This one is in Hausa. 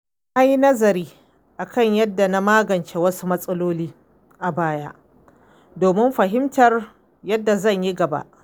Na yi nazari kan yadda na magance wasu matsaloli a baya domin fahimtar yadda zan yi gaba.